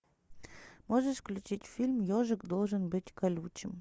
можешь включить фильм ежик должен быть колючим